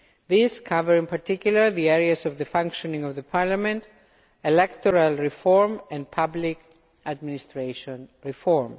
These cover, in particular, the areas of the functioning of the parliament, electoral reform and public administration reform.